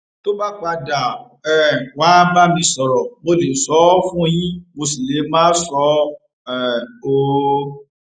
tó bá padà um wàá bá mi sọrọ mo lè sọ ọ fún yín mo sì lè má sọ um ọ